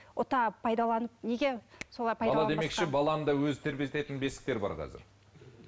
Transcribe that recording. ұта пайдаланып неге солай баланы да өзі тербететін бесіктер бар қазір